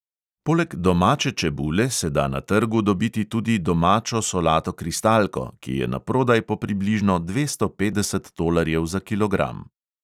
Poleg domače čebule se da na trgu dobiti tudi domačo solato kristalko, ki je naprodaj po približno dvesto petdeset tolarjev za kilogram.